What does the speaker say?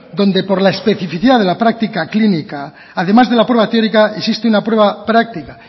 donde por la especificidad de la práctica clínica además de la prueba teórica existe una prueba práctica